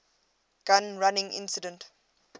gun running incident